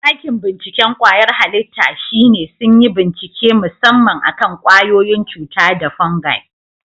Ɗakin binciken kwayar halitta shine sun yi bincike musamman akan kwayoyin cuta da fungi.